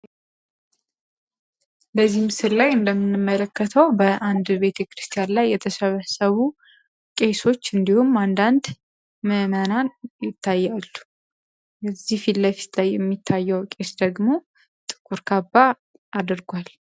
በምስሉ ላይ እንደምንመለከተው በአንድ ቤተ ክርስቲያን ላይ የተሰበሰቡ ምእመናን ይታያሉ ፊት ለፊት የሚታየው ቄስ ደግሞ ጥቁር ካባ አድርጓል።